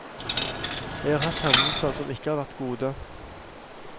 Jeg har hatt hendelser som ikke har vært gode.